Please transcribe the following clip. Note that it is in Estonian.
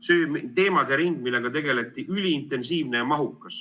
See teemade ring, millega tegeleti, üliintensiivne ja mahukas.